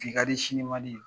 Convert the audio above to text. Bi kadi sini man di.